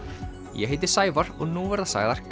ég heiti Sævar og nú verða sagðar